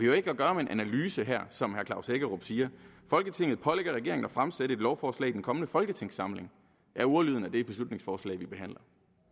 jo ikke at gøre med en analyse her som herre klaus hækkerup siger folketinget pålægger regeringen at fremsætte et lovforslag i den kommende folketingssamling er ordlyden af det beslutningsforslag vi behandler